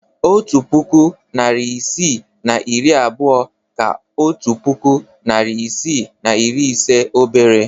Otu puku, narị isii na iri abụọ ka otu puku, narị isii na iri ise obere